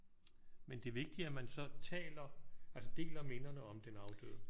Men det er vigtigt at man så taler altså deler minderne om den afdøde